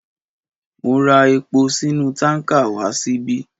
Ó ma ra epo sínú tánkà wá síbí.